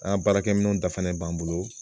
An ka baarakɛ minɛnw dafanen b'an bolo